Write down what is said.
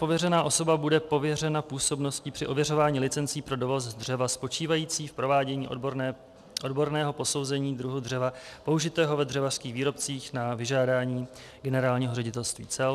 Pověřená osoba bude pověřena působností při ověřování licencí pro dovoz dřeva spočívající v provádění odborného posouzení druhu dřeva použitého ve dřevařských výrobcích na vyžádání Generálního ředitelství cel.